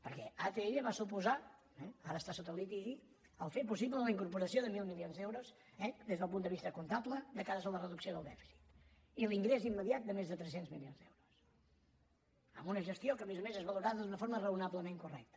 perquè atll va suposar ara està sota litigi fer possible la incorporació de mil milions d’euros des del punt de vista comptable de cara a la reducció del dèficit i l’ingrés immediat de més de tres cents milions d’euros amb una gestió que a més a més és valorada d’una forma raonablement correcta